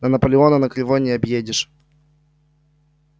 но наполеона на кривой не объедешь